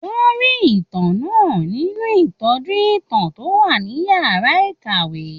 Wọ́n rí ìtàn náà nínú ìtọ́jú ìtàn tó wà ní yàrá ìkàwé